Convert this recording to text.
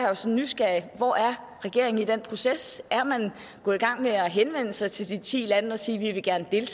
jo så nysgerrig hvor er regeringen i den proces er man gået i gang med at henvende sig til de ti lande og sige at vi gerne vil